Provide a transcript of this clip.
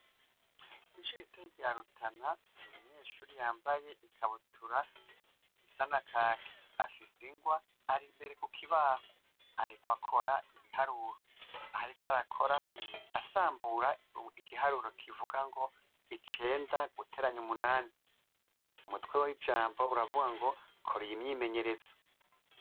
Ishure ritoya rya Rutana hari umunyeshure yambaye ikabutura isa nakaki, afise ingwa ari imbere kukibaho ariko akora ibiharuro, aho ariko arakora asambura igiharuro kivugango icenda gutera umunani, umutwe wijambo uravugango kora iyo myimenyerezo.